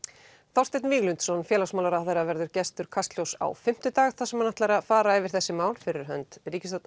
Þorsteinn Víglundsson félagsmálaráðherra verður gestur Kastljóss á fimmtudag þar sem hann ætlar að fara yfir þessi mál fyrir hönd